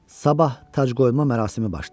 Sabah tacqoyma mərasimi başlayırdı.